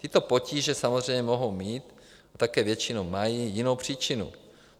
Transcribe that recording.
Tyto potíže samozřejmě mohou mít, a také většinou mají, jinou příčinu.